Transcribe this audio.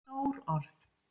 Stór orð